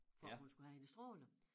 For at hun skulle have de stråler